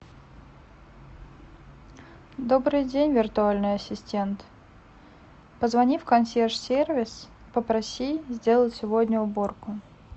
добрый день виртуальный ассистент позвони в консьерж сервис попроси сделать сегодня уборку